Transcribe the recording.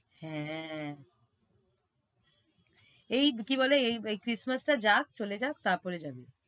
হ্যাঁ, এই কি বলে, এই christmas টা যাক চলে যাক তারপরে যাবি।